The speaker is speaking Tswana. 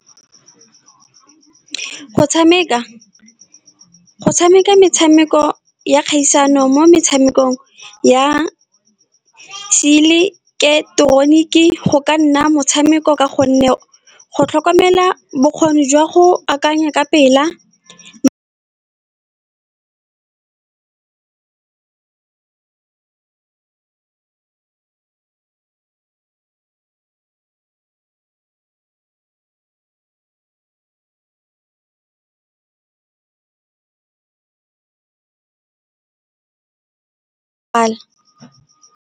Go tshameka, go tshameka metshameko ya kgaisano mo metshamekong ya seileteroniki, go ka nna motshameko ka gonne go tlhokomela bokgoni jwa go akanya ka pela .